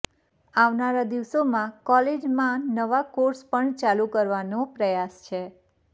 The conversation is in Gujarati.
આવનારા દિવસોમાં કોલેજમાં નવા કોર્ષ પણ ચાલુ કરવાનો પ્રયાસ છે